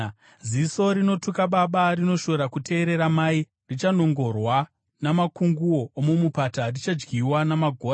“Ziso rinotuka baba, rinoshora kuteerera mai, richanongorwa namakunguo omumupata, richadyiwa namagora.